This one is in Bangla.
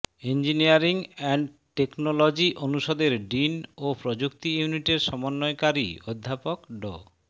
ইঞ্জিনিয়ারিং এন্ড টেকনোলজি অনুষদের ডিন ও প্রযুক্তি ইউনিটের সমন্বয়কারী অধ্যাপক ড